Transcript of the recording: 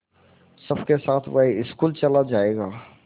सबके साथ वह स्कूल चला जायेगा